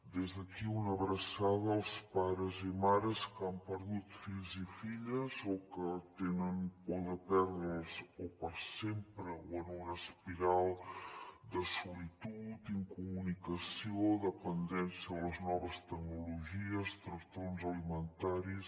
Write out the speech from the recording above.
des d’aquí una abraçada als pares i mares que han perdut fills i filles o que tenen por de perdre’ls o per sempre o en una espiral de solitud incomunicació dependència de les noves tecnologies trastorns alimentaris